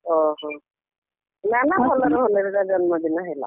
ଓହୋ ନା ନା ଭଲରେ ଭଲରେ ତା ଜନ୍ମଦିନ ହେଲା।